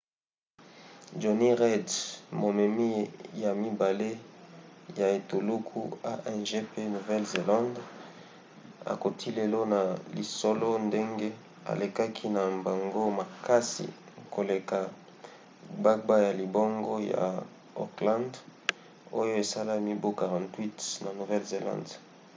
jonny reid momemi ya mibale ya etuluku a1gp nouvelle-zélande akoti lelo na lisolo ndenge alekaki na mbango makasi koleka gbagba ya libongo ya auckland oyo esala mibu 48 na nouvelle-zélande